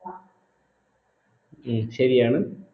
ഉം ശരിയാണ്